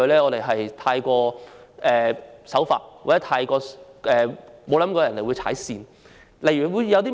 我們太守法或沒想過有人會踩界。